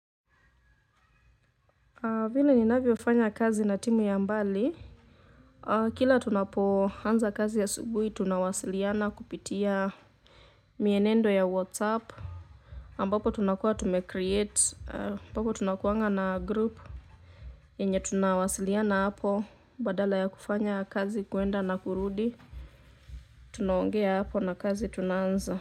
Vile ninavyofanya kazi na timu ya mbali, kila tunapoanza kazi asubuhi tunawasiliana kupitia mienendo ya WhatsApp, ambapo tunakuwa tumecreate, ambapo tunakuwanga na group yenye tunawasiliana hapo, badala ya kufanya kazi kwenda na kurudi. Tunaongea hapo na kazi tunaanza.